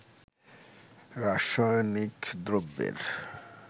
রাসায়নিক দ্রব্যের